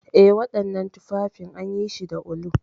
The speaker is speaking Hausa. Eh, wananan tuffafin anyishi da ulu.